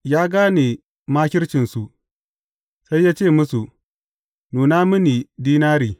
Ya gane makircinsu, sai ya ce musu, Nuna mini dinari.